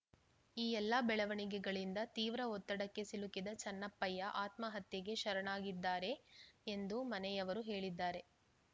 ಈ ಎಲ್ಲ ಬೆಳವಣಿಗಳಿಂದ ತೀವ್ರ ಒತ್ತಡಕ್ಕೆ ಸಿಲುಕಿದ ಚೆನ್ನಪ್ಪಯ್ಯ ಆತ್ಮಹತ್ಯೆಗೆ ಶರಣಾಗಿದ್ದಾರೆ ಎಂದು ಮನೆಯವರು ಹೇಳಿದ್ದಾರೆ